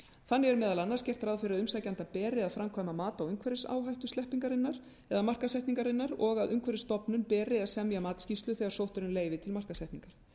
þannig er meðal annars gert ráð fyrir að umsækjanda beri að framkvæma mat á umhverfisáhættu sleppingarinnar markaðssetningarinnar og að umhverfisstofnun beri að semja matsskýrslu þegar sótt er um leyfi til markaðssetningar